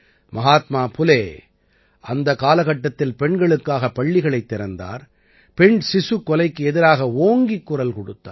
மஹாத்மா புலே அந்தக் காலகட்டத்தில் பெண்களுக்காக பள்ளிகளைத் திறந்தார் பெண் சிசுக் கொலைக்கு எதிராக ஓங்கிக் குரல் கொடுத்தார்